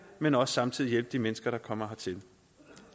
men også samtidig hjælpe de mennesker som kommer hertil